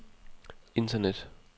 internet